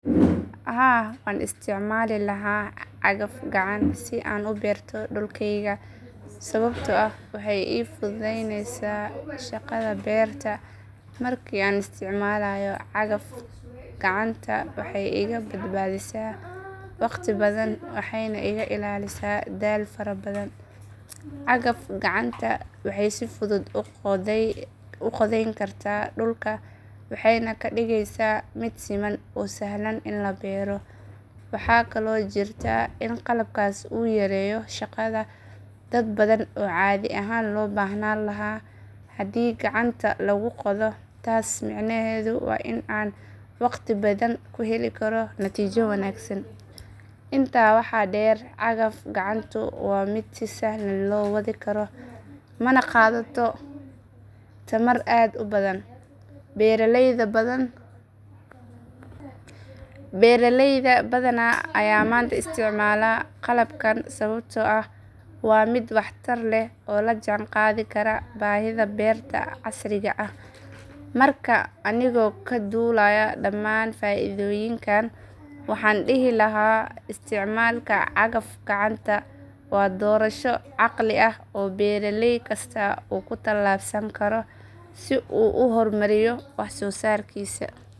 Haa waan isticmaali lahaa cagaf gacan si aan u beerto dhulkayga sababtoo ah waxay ii fududaynaysaa shaqada beerta. Markii aan isticmaalayo cagaf gacanta waxay iga badbaadisaa waqti badan waxayna iga ilaalisaa daal fara badan. Cagaf gacanta waxay si fudud u qodayn kartaa dhulka waxayna ka dhigaysaa mid siman oo sahlan in la beero. Waxaa kaloo jirta in qalabkaas uu yareeyo shaqada dad badan oo caadi ahaan loo baahnaan lahaa haddii gacanta lagu qodo. Taas macnaheedu waa in aan waqti badan ku heli karo natiijo wanaagsan. Intaa waxaa dheer cagaf gacantu waa mid si sahlan loo wadi karo mana qaadato tamar aad u badan. Beeralayda badan ayaa maanta isticmaala qalabkan sababtoo ah waa mid waxtar leh oo la jaan qaadi kara baahida beerta casriga ah. Marka anigoo ka duulaya dhammaan faa’iidooyinkan waxaan dhihi lahaa isticmaalka cagaf gacanta waa doorasho caqli ah oo beeralay kasta uu ku talaabsan karo si uu u horumariyo wax soo saarkiisa.